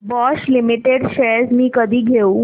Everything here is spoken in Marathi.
बॉश लिमिटेड शेअर्स मी कधी घेऊ